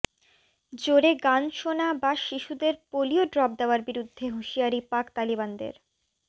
জোরে গান শোনা বা শিশুদের পোলিও ড্রপ দেওয়ার বিরুদ্ধে হুঁশিয়ারি পাক তালিবানদের